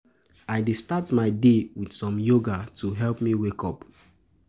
I dey start my day with some yoga to help me wake up.